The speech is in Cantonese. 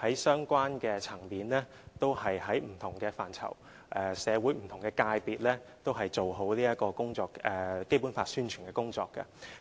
在相關層面、不同範疇和社會不同界別也做好《基本法》的宣傳工作。